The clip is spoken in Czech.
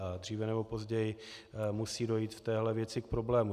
A dříve nebo později musí dojít v téhle věci k problému.